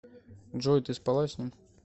джой ты спала с ним